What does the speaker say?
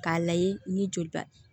K'a layɛ ni joliba